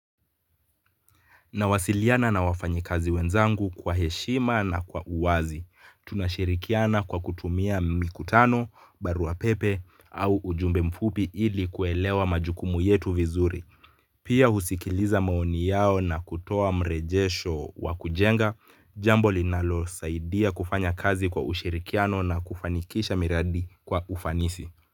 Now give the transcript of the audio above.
Nawasiliana na wafanyi kazi wenzangu kwa heshima na kwa uwazi. Tunashirikiana kwa kutumia mikutano, baruapepe au ujumbe mfupi ili kuelewa majukumu yetu vizuri. Pia husikiliza maoni yao na kutoa mrejesho wa kujenga, jambo linalo saidia kufanya kazi kwa ushirikiano na kufanikisha miradi kwa ufanisi.